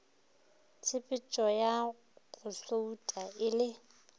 tshepetšoya go souta e le